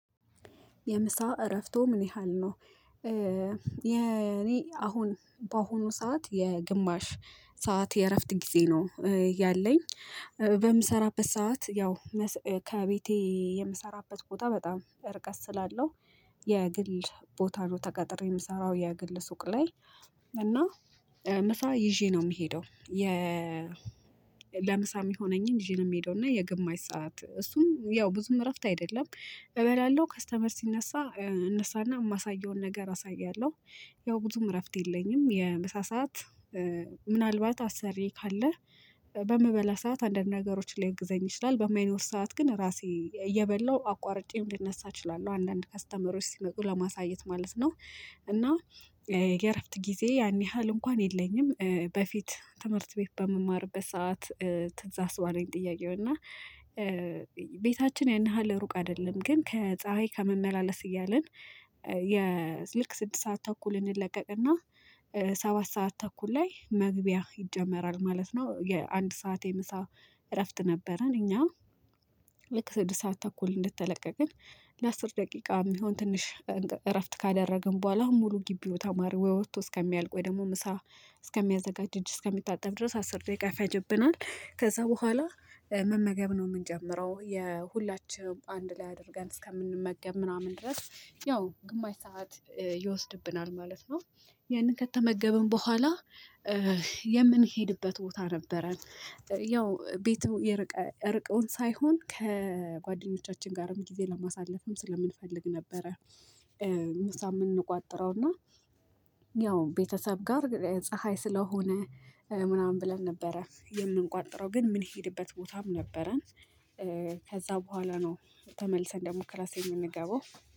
የምሳ እረፍቶ ምን ያህል ነው? የኔ አሁን በአሁኑ ሰዓት የግማሽ ሰዓት የእረፍት ጊዜ ነው ያለኝ በምሰራበት ሰዓት ያው ከቤቴ የምሰራበት ቦታ በጣም ርቀት ስላለው የግል ቦታ ነው ተቀጥሬ ምሰራው የግል ሱቅ ላይ እና ምሳ ይዤ ነው የምሄደው። ለምሳ ሚሆነኝ ይዤ ነው የምሄደው እና የግማሽ ሰዓት እሱም ያው ብዙም እረፍት አይደለም እበላለሁ ከስተመር ሲነሳ እነሳና ማሳየውን ነገር አሳያለሁ ያው ብዙም እረፍት የለኝም የምሳ ሰዓት። ምናልባት አሰሪየ ካለ በምበላ ሰዓት አንዳንድ ነገሮችን ሊያግዘኝ ይችላል በማይኖር ሰዓት ግን ራሴ እየበላሁ አቋርጬም ልነሳ እችላለሁ አንዳንድ ከስተመሮች ሲመጡ ለማሳየት ማለት ነው። እና የእረፍት ጊዜ ያን ያህል እንኳን የለኝም። በፊት ትምህርት ቤት በምማርበት ሰዓት። ትዝ አስባለኝ ጥያቄው እና ቤታችን ያን ያህል ሩቅ አደለም ግን ከፀሀይ ከመመላለስ እያልን። የልክ ስድስት ሰዓት ተኩልን እንለቀቅና ሰባት ሰዓት ተኩል ላይ መግቢያ ይጀመራል ማለት ነው። የአንድ ሰዓት የምሳ እረፍት ነበረን እኛ። ልክ ስድስት ሰዓት ተኩል እንደተለቀቅን ለአስር ደቂቃ የሚሆን ትንሽ እረፍት ካደረግን ቡኋላ ሙሉ ግቢው ተማሪ ወይ ወጥቶ እስከሚያልቅ ወይ ደግሞ ምሳ እስከሚያዘጋጅ እጅ እስከሚታጠብ ድረስ አስር ደቂቃ ይፈጅብናል። ከዛ በኋላ መመገብ ነው ምንጀምረው የሁላችንም አንድ ላይ አድርገን እስከምንመገብ ምናምን ድረስ ያው ግማሽ ሰዓት ይወስድብናል ማለት ነው። ያንን ከተመገብን በኋላ የምንሄድበት ቦታ ነበረን። ያው ቤቱ የርቅ ርቆን ሳይሆን ከጓደኞቻችን ጋርም ጊዜ ለማሳለፍም ስለምንፈልግ ነበረ። ምሳ ምን እንቋጥረውና ያው ቤተሰብ ጋር ፀሀይ ስለሆነ ምናምን ብለን ነበረ የምንቋጥረው ግን ምንሄድበት ቦታም ነበረን። ከዛ በኋላ ነው ተመልሰን ደሞ ክላስ የምንገባው